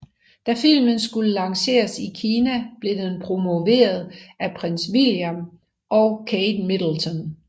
Da filmen skulle lanceres i Kina blev den promoveret af Prins William og Kate Middleton